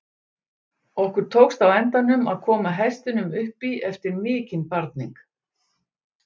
Okkur tókst á endanum að koma hestinum upp í eftir mikinn barning.